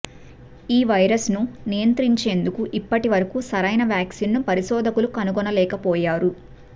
ఈ వైరస్ను నియంత్రించేందుకు ఇప్పటి వరకు సరైన వ్యాక్సిన్ను పరిశోధకులు కనుగొనలేకపోయారు